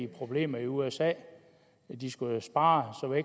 problemer i usa de skal jo spare